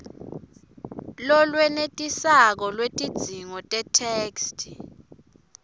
lolwenetisako lwetidzingo tetheksthi